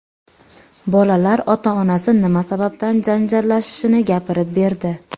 Bolalar ota-onasi nima sababdan janjallashishini gapirib berdi .